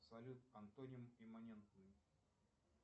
салют антоним иммунентный